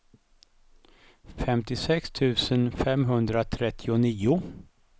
femtiosex tusen femhundratrettionio